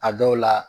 A dɔw la